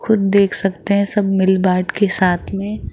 खुद देख सकते है सब मिल बाट के साथ में--